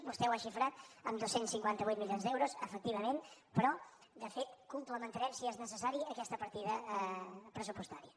vostè ho ha xifrat en dos cents i cinquanta vuit milions d’euros efectivament però de fet complementarem si és necessari aquesta partida pressupostària